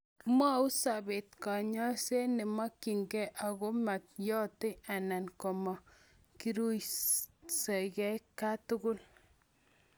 mwou sobet kanyoiset neimokyinigei angotimeyoti anan komeriguitosigei katugul